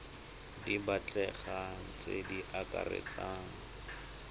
di batlegang tse di akaretsang